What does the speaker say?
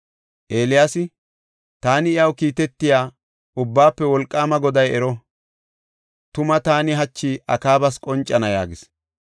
Eeliyaasi, “Taani iyaw kiitetiya, Ubbaafe Wolqaama Goday ero! Tuma taani hachi Akaabas qoncana” yaagis.